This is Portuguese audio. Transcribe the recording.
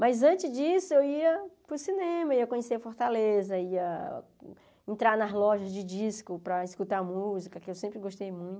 Mas antes disso, eu ia para o cinema, ia conhecer Fortaleza, ia entrar nas lojas de disco para escutar música, que eu sempre gostei muito.